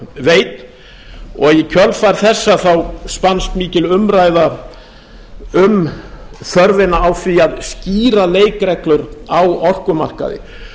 veit og í kjölfar þessa spannst mikil umræða um þörfina á því að skýra leikreglur á orkumarkaði